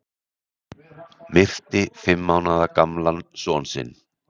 Myrti fimm mánaða gamlan son sinn